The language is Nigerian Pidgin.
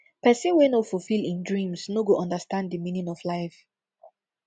pesin wey no fulfill im dreams no go understand di meaning of life